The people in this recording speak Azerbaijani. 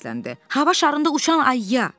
Hava şarında uçan ayıya.